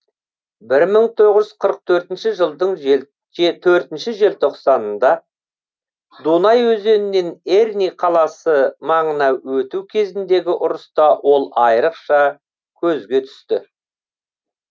бір мың тоғыз жүз қырық төртінші жылдың төртінші желтоқсанында дунай өзенінен эрни қаласы маңына өту кезіндегі ұрыста ол айрықша көзге түсті